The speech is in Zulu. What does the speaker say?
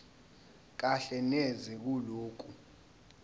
kahle neze kulokho